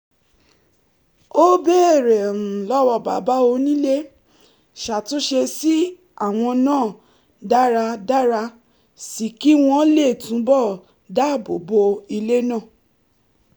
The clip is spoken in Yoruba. ó béèrè lọ́wọ́ bàbá onílé ṣàtúnṣe sí àwọn náà dára dára sí i kí wọ́n lè túbọ̀ dáàbò bo ilé náà